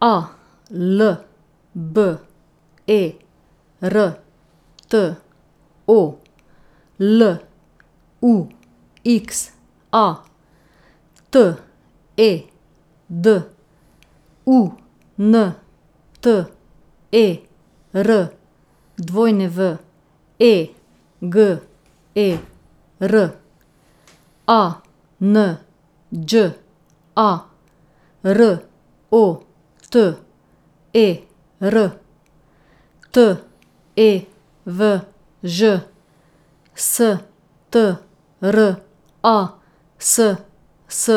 A L B E R T O, L U X A; T E D, U N T E R W E G E R; A N Đ A, R O T E R; T E V Ž, S T R A S S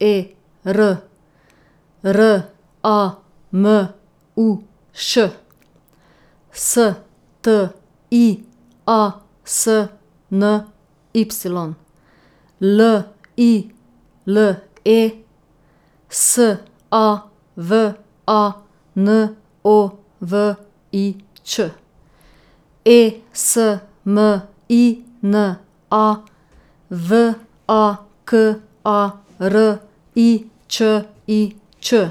E R; R A M U Š, S T I A S N Y; L I L E, S A V A N O V I Ć; E S M I N A, V A K A R I Č I Č;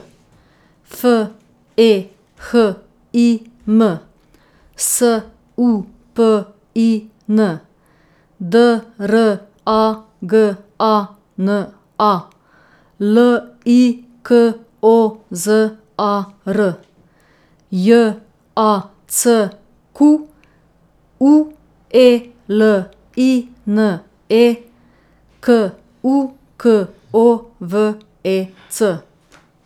F E H I M, S U P I N; D R A G A N A, L I K O Z A R; J A C Q U E L I N E, K U K O V E C.